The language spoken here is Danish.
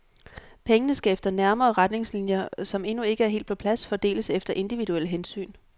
Pengene skal efter nærmere retningslinjer, som endnu ikke er helt på plads, fordeles efter individuelle hensyn.